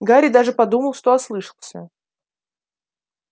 гарри даже подумал что ослышался